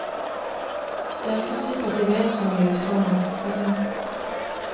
Det er ikke sikkert de vet så mye i utlandet, heller.